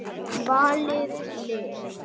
Valið lið.